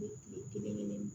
Kile kelen